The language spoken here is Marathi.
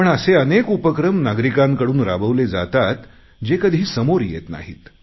पण असे अनेक उपक्रम नागरिकांकडून राबवले जातात जे कधी समोर येत नाहीत